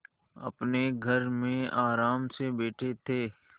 अपने घर में आराम से बैठे थे